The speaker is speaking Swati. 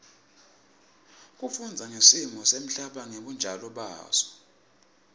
kufundza ngesimo semhlaba ngebunjalo baso